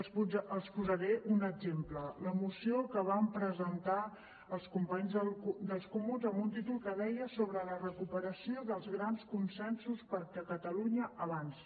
els en posaré un exemple la moció que van presentar els companys del comuns amb un títol que deia sobre la recuperació dels grans consensos perquè catalunya avanci